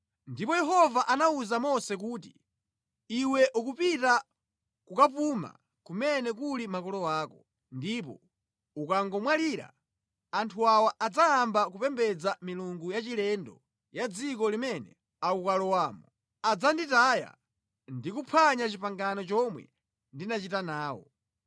Ndipo Yehova anawuza Mose kuti, “Iwe ukupita kukapuma kumene kuli makolo ako, ndipo ukangomwalira, anthu awa adzayamba kupembedza milungu yachilendo ya mʼdziko limene akukalowamo. Adzanditaya ndi kuphwanya pangano lomwe ndinachita nawo.